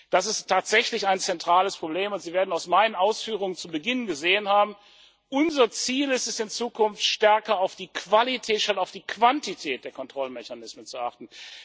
Das ist tatsächlich ein zentrales Problem, und Sie werden aus meinen Ausführungen zu Beginn entnommen haben Unser Ziel ist es, in Zukunft stärker auf die Qualität statt auf die Quantität der Kontrollmechanismen zu achten.